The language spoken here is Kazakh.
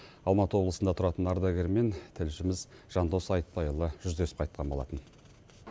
алматы облысында тұратын ардагермен тілшіміз жандос айтпайұлы жүздесіп қайтқан болатын